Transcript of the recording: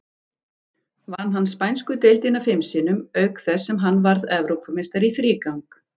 Vann hann spænsku deildina fim sinnum, auk þess sem hann varð Evrópumeistari í þrígang.